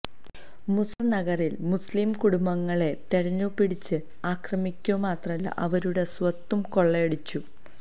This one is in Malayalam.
മുസഫർ നഗറിൽ മുസ്ലിം കുടുംബങ്ങളെ തെരഞ്ഞുപിടിച്ച് ആക്രമിക്കുകമാത്രമല്ല അവരുടെ സ്വത്തും കൊള്ളയടിച്ചു